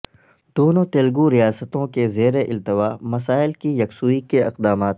دونوں تلگو ریاستوں کے زیرالتوا مسائل کی یکسوئی کے اقدامات